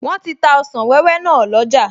Wọ́n ti ta ọsàn wẹ́wẹ́ náà lọ́jà